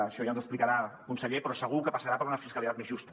això ja ens ho explicarà conseller però segur que passarà per una fiscalitat més justa